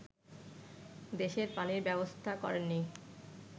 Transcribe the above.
দেশের পানির ব্যবস্থা করেননি